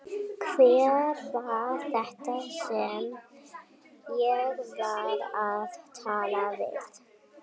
Hver var þetta sem ég var að tala við?